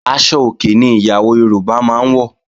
Aṣọ òkè ni ìyàwó Yorùbá máa ń wọ̀